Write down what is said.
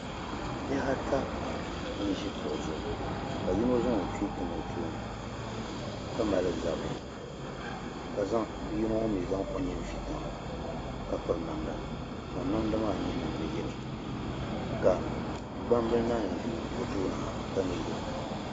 Bihi ata n ʒi kuɣu zuɣu, ka yinɔ zaŋ ɔ kpee tam ɔ tooni kamali zabiri ka bii maa zaŋ ɔnini fi. tiŋa ka piri namda, ka namda maa nyɛ namdi yelow ka gban bili naan ʒɛ o tooni na ka nyɛ yelow.